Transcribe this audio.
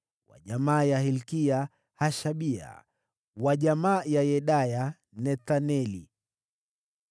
wa jamaa ya Hilkia, Hashabia; wa jamaa ya Yedaya, Nethaneli.